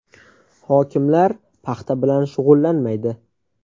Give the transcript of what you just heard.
Hokimlar paxta bilan shug‘ullanmaydi.